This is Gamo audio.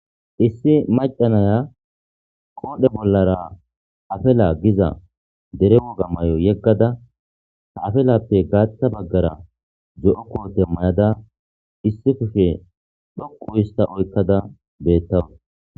Issi maca naya qoodhdhe bollara afala giza der wogga mayo yegada afilappe gaaththa baggara zo'o kootte mayada issi kushshe dhoqqu hista oyqadda beetawus